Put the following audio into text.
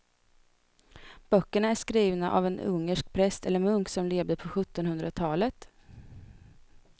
Böckerna är skrivna av en ungersk präst eller munk som levde på sjuttonhundratalet.